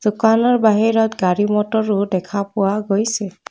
দোকানৰ বাহিৰত গাড়ী মটৰো দেখা পোৱা গৈছে।